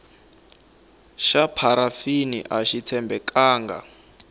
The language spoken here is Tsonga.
xa pharafini axi tshembekanga